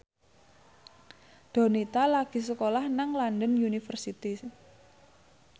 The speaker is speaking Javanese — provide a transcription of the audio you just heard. Donita lagi sekolah nang London University